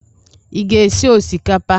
Ị ga-esi osikapa?